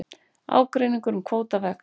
Ágreiningur um kvóta vex